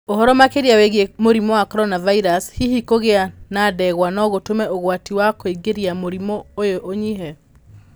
Ũhoro makĩria wĩgiĩ mũrimũ wa Koronavirusi: Hihi kũgĩa na ndegwa no gũtũme ũgwati wa kũingĩra mũrimũ-inĩ ũyũ ũnyihe?